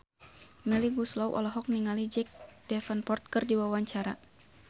Melly Goeslaw olohok ningali Jack Davenport keur diwawancara